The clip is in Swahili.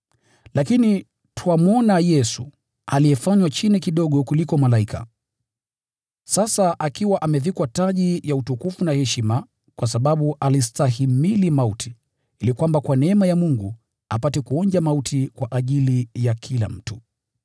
Lakini twamwona Yesu, aliyefanywa chini kidogo kuliko malaika, sasa akiwa amevikwa taji ya utukufu na heshima kwa sababu alistahimili mauti, ili kwamba kwa neema ya Mungu apate kuonja mauti kwa ajili ya kila mtu.